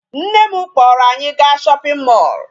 Nne m kpọrọ anyị gaa shopping mall.